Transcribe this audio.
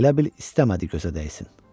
Elə bil istəmədi gözə dəysin.